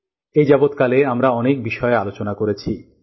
এপর্যন্ত আমরা অনেক বিষয়ে আলোচনা করেছি